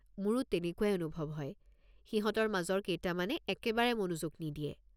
মোৰো তেনেকুৱাই অনুভৱ হয়, সিহঁতৰ মাজৰ কেইটামানে একেবাৰে মনোযোগ নিদিয়ে।